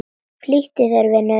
Flýttu þér, vinur.